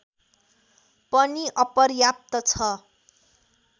पनि अपर्याप्त छ